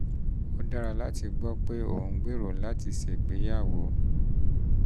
um ó dára láti gbọ́ pé ò um ń gbèrò láti ṣègbéyàwó